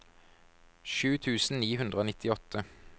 sju tusen ni hundre og nittiåtte